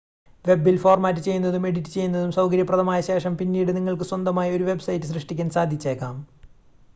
വെബിൽ format ചെയ്യുന്നതും edit ചെയ്യുന്നതും സൗകര്യപ്രദമായ ശേഷം പിന്നീട് നിങ്ങൾക്ക് സ്വന്തമായി ഒരു വെബ്സൈറ്റ് സൃഷ്‌ടിക്കാൻ സാധിച്ചേക്കാം